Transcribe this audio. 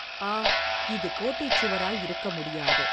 ஆ, இது கோட்டைச் சுவராயிருக்க முடியாது.